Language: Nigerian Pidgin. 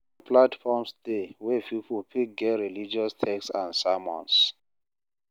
Online platforms dey wey pipo fit get religous text and sermons